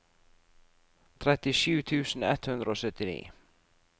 trettisju tusen ett hundre og syttini